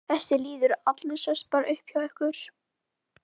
Þessi lýður allur sest bara upp hjá ykkur.